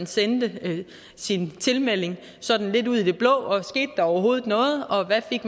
sendte sin tilmelding sådan lidt ud i det blå og skete der overhovedet noget og hvad fik